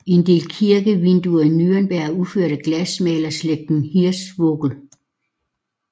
En del kirkevinduer i Nürnberg er udført af glasmalerslægten Hirschvogel